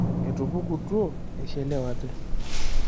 Etupukutuo eishelewate.